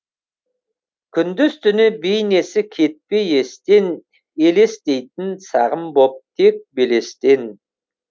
күндіз түні бейнесі кетпей естен елестейтін сағым боп тек белестен